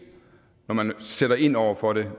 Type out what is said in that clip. når man sætter ind over for det